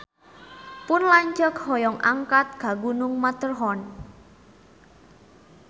Pun lanceuk hoyong angkat ka Gunung Matterhorn